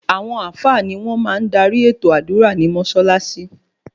Àwọn àfáà ni wọ́n máa ń darí ètò àdúrà ní Mọ́ṣáláṣí